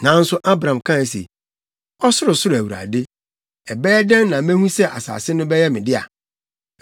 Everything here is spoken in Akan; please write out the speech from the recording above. Nanso Abram kae se, “Ɔsorosoro Awurade, ɛbɛyɛ dɛn na mehu sɛ asase no bɛyɛ me dea?”